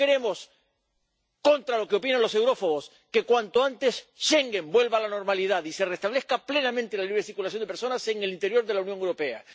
Por eso queremos, contra lo que opinan los eurófobos, que, cuanto antes, Schengen vuelva a la normalidad y se restablezca plenamente la circulación de personas en el interior de la Unión Europea.